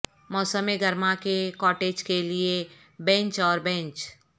موسم گرما کے کاٹیج کے لئے بینچ اور بینچ